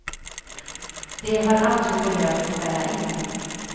De har aldrig behövt ställa in.